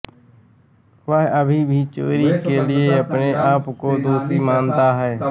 वह अभी भी चोरी के लिए अपने आप को दोषी मानता है